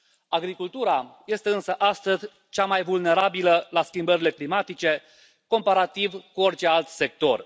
Agricultura este însă astăzi cea mai vulnerabilă la schimbările climatice, comparativ cu orice alt sector.